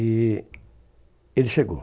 E ele chegou.